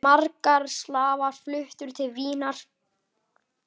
Margir slavar fluttu til Vínar.